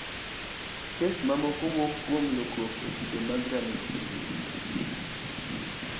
Kes mamoko wuok kuom lokruok e kido mag RUNX2.